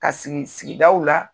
Ka sigi sigidaw la